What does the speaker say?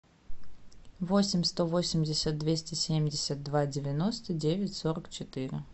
восемь сто восемьдесят двести семьдесят два девяносто девять сорок четыре